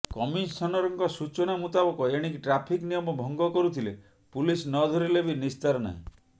କମିଶନରଙ୍କ ସୂଚନା ମୁତାବକ ଏଣିକି ଟ୍ରାଫିକ୍ ନିୟମ ଭଙ୍ଗ କରୁଥିଲେ ପୁଲିସ୍ ନ ଧରିଲେ ବି ନିସ୍ତାର ନାହିଁ